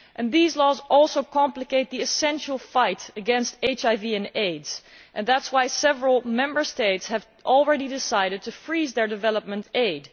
These laws also hinder the vital fight against HIV and AIDS, and that is why several Member States have already decided to freeze their development aid.